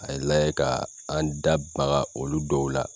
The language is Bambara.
K'a layɛ ka an da maga olu dɔw la